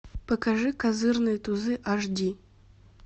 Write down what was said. покажи козырные тузы аш ди